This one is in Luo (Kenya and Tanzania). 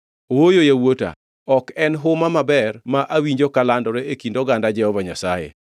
Ooyo yawuota; ok en huma maber ma awinjo kalandore e kind oganda Jehova Nyasaye.